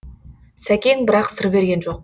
сәкең бірақ сыр берген жоқ